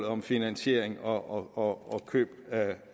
om finansiering og køb